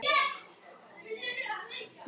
Það skipbrot er reyndar algengara en margur heldur.